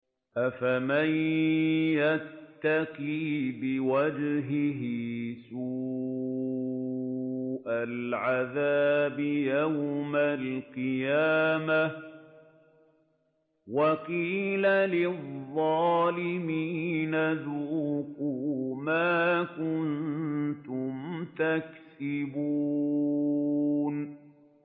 أَفَمَن يَتَّقِي بِوَجْهِهِ سُوءَ الْعَذَابِ يَوْمَ الْقِيَامَةِ ۚ وَقِيلَ لِلظَّالِمِينَ ذُوقُوا مَا كُنتُمْ تَكْسِبُونَ